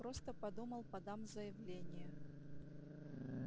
просто подумал подам заявление